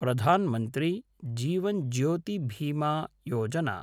Pradhan Mantri Jeevan Jyoti Bima Yojana